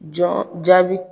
Jɔn jaabi.